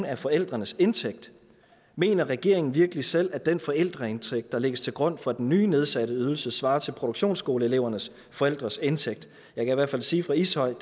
af forældrenes indtægt mener regeringen virkelig selv at den forældreindtægt der lægges til grund for den nye nedsatte ydelse svarer til produktionsskoleelevernes forældres indtægt jeg kan i hvert fald sige for ishøjs